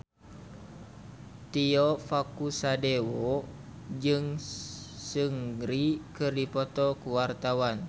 Tio Pakusadewo jeung Seungri keur dipoto ku wartawan